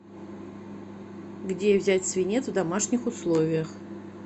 где взять свинец в домашних условиях